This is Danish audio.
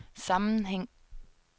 sammenhæng